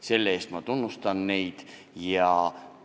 Selle eest ma tunnustan neid inimesi.